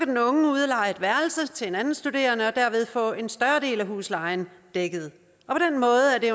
den unge udleje et værelse til en anden studerende og derved få en større del af huslejen dækket